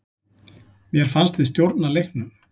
Mér fannst við stjórna leiknum.